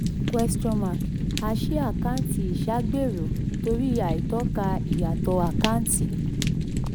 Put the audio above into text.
ten a ṣí àkáǹtì ìṣàgbéró torí àìtọ́ka ìyàtọ̀ àkántì.